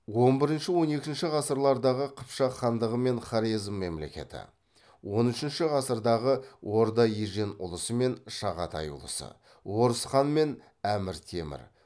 он бірінші он екінші ғасырлардағы қыпшақ хандығы мен хорезм мемлекеті он үшінші ғасырдағы орда ежен ұлысы мен шағатай ұлысы орыс хан мен әмір темір